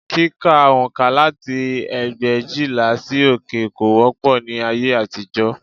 Kíka oǹkà láti ẹgbẹ̀éjìlá sí òkè kò wọ́pọ̀ ní ayé àtijọ́